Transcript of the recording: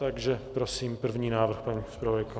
Takže prosím, první návrh, paní zpravodajko.